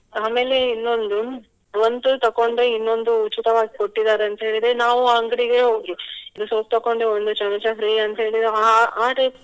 ಆಮೇಲೆ ಇನ್ನೊಂದು ಒಂದು ತಕೊಂಡು ಇನ್ನೊಂದು ಉಚಿತವಾಗಿ ಕೊಟ್ಟಿದ್ದಾರೆ ಅಂತ ಹೇಳಿದ್ರೆ ನಾವು ಅಂಗಡಿಗೆ ಹೋಗಿ ಇದು soap ತಕೊಂಡು ಒಂದು ಚಮಚ free ಅಂತ್ಹೇಳಿದ್ರೆ ಅಹ್